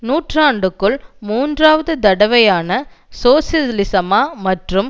நூற்றாண்டுக்குள் மூன்றாவது தடவையான சோசலிசமா அல்லது